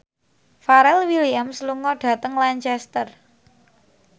Pharrell Williams lunga dhateng Lancaster